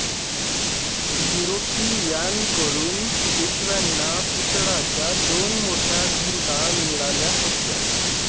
युरोपीयांकडून पेशव्यांना पितळाच्या दोन मोठ्या घंटा मिळाल्या होत्या